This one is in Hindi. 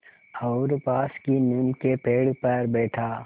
और पास की नीम के पेड़ पर बैठा